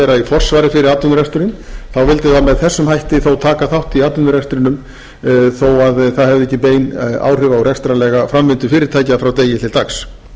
í forsvari fyrir atvinnureksturinn þá vildi það með þessum hætti þó taka þátt í atvinnurekstrinum þó það hefði ekki bein áhrif á rekstrarlega framvindu fyrirtækja frá degi til dags